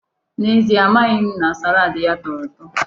N'ezie, amaghị m na salaadi ya tọrọ ụtọ.